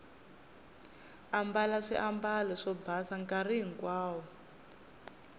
ambala swiambalo swo basa nkarhi hinkwawo